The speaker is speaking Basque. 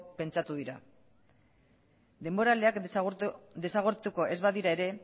pentsatu dira denboraleak desagertuko ez badira ere